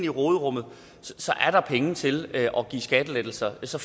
råderummet er der penge til at give skattelettelser så